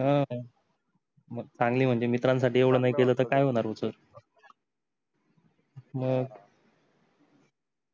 ह मग चांगली म्हणजे मित्रांसाठी एवढा नाही केल तर काही होणार होतो मग